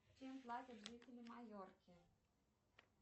чем платят жители майорки